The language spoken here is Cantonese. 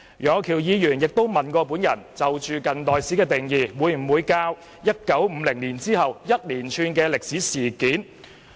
楊岳橋議員詢問我，近代史會否教授1950年後發生的連串歷史事件。